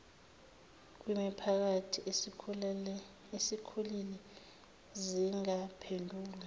kwimiphakathi esikhulile zingaphendulwa